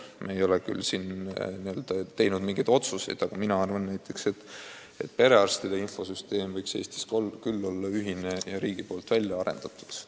Me ei ole küll teinud mingeid otsuseid, aga minu arvates perearstide infosüsteem võiks Eestis olla ühine ja riigi välja arendatud.